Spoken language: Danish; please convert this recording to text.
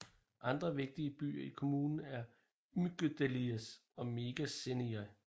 Andre vigtige byer i kommunen er Amygdaliés og Méga Seiríni